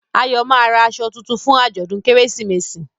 Ayo má rà aṣọ títún fún ajọdun Kérésìmesì